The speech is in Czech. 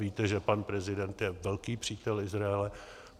Víte, že pan prezident je velký přítel Izraele.